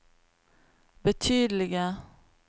betydelige